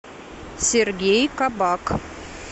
сергей кабак